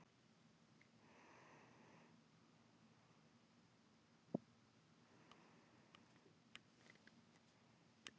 Öll rotnun er mun hægar í barrskógum en í laufskógum.